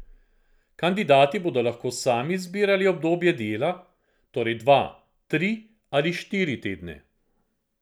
Kandidati bodo lahko sami izbirali obdobje dela, torej dva, tri ali štiri tedne.